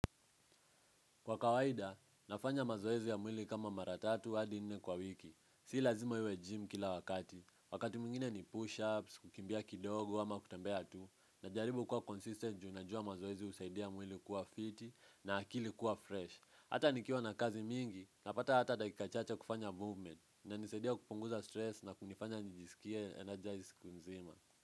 Kwa kawaida, nafanya mazoezi ya mwili kama maratatu had nne kwa wiki. Si lazima iwe gym kila wakati. Wakati mwingine ni push-ups, kukimbia kidogo ama kutambea tu. Najaribu kuwa consistent ju najua ya mazoezi husaidia mwili kuwa fiti na akili kuwa fresh. Hata nikiwa na kazi mingi, napata hata dakika chacha kufanya movement. Inanisaidia kupunguza stress na kunifanya nijisikia energize consumer.